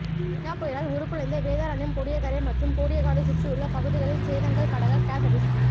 கஜா புயலால் உருகுலைந்த வேதாரண்யம் கோடியக்கரையை மற்றும் கோடியக்காடு சுற்றியுள்ள பகுதிகளின் சேதங்கள் படங்கள் கசதீஷ்குமார்